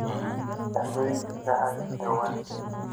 dhacdooyinka dhacaya dhawaan